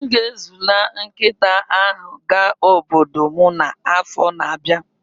M ga-ezila nkịta ahụ ga obodo m n'afọ na-abịa.